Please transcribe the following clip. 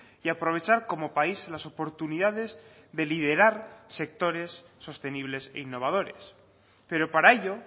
y aprovechar como país las oportunidades de liderar sectores sostenibles e innovadores pero para ello